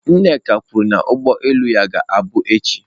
Nneka kwuru na ụgbọ elu ya ga-abụ echi.